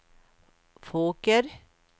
Fåker